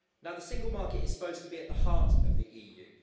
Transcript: The Single Market is supposed to be at the heart of the EU.